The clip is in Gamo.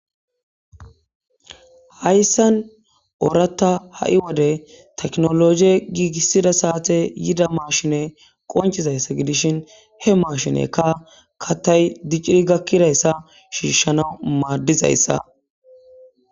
hayssan ooratta ha7i wode teknologie giigissida saate yida maashine qonchizayssa gidishin he maashinekka katay dicciri gakkidayssa shiishshana maaddizayssa